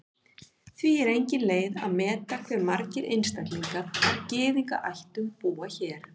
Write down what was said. Því er engin leið að meta hve margir einstaklingar af Gyðingaættum búa hér.